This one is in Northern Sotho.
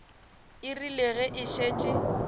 e rile ge e šetše